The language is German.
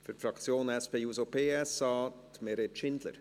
Für die Fraktion SP-JUSO-PSA, Meret Schindler.